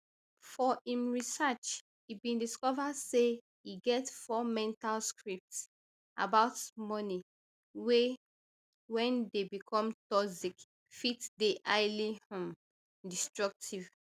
for im research e bin discover say e get four mental scripts about money wey wen dey become toxic fit dey highly um destructive